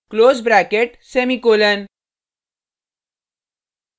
close bracket semicolon